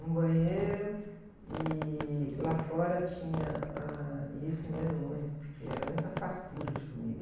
Um banheiro e lá fora tinha, ãh... E isso eu me lembro muito, porque era muita fartura de comida.